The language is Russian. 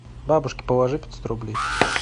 бабушке положи пятьсот рублей